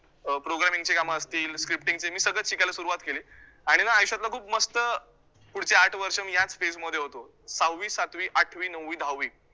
अं programming चे कामं असतील, scripting चे, मी सगळचं शिकायला सुरुवात केली आणि ना आयुष्यातला खूप मस्त, पुढचे आठ वर्ष मी याच phase मध्ये होतो. सहावी, सातवी, आठवी, नऊवी, दहावी